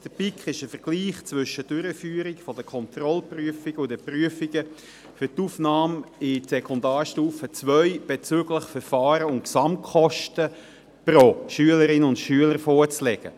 Der BiK ist ein Vergleich zwischen der Durchführung der Kontrollprüfungen und der Prüfungen für die Aufnahme in die Mittelschule bezüglich Verfahren und Gesamtkosten […] vorzulegen.